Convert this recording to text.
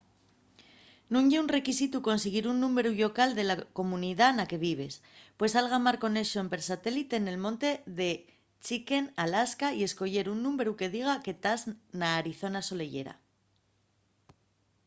nun ye requisitu consiguir un númberu llocal de la comunidá na que vives pues algamar conexón per satélite nel monte de chicken alaska y escoyer un númberu que diga que tas na arizona soleyera